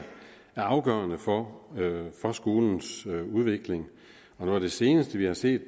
afgørende for for skolens udvikling noget af det seneste vi har set